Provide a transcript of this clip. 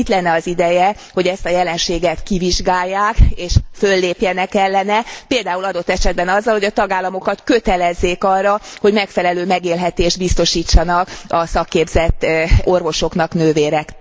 Itt lenne az ideje, hogy ezt a jelenséget kivizsgálják, és föllépjenek ellene, például adott esetben azzal, hogy a tagállamokat kötelezzék arra, hogy megfelelő megélhetést biztosítsanak a szakképzett orvosoknak, nővéreknek.